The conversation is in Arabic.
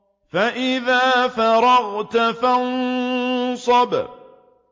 فَإِذَا فَرَغْتَ فَانصَبْ